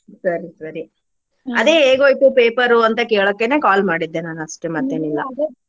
ಸರಿ ಸರಿ ಅದೆ ಹೇಗೋಯ್ತು paper ಅಂತಾ ಕೇಳೋಕೆನೆ call ಮಾಡಿದ್ದೆ ನಾನ್ ಅಷ್ಟೇ ಮತ್ತೆನಿಲ್ಲಾ.